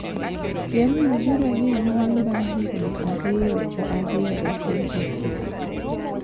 Piemno biro dhi nyime bang’ higni ariyo ka ariyo e piny Afrika.